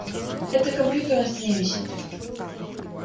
это компьютер на стене висит